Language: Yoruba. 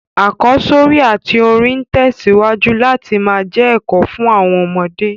Àkọ́sórí àtí orin n tẹ̀síwájú láti má je èkò fun àwon ọmọdé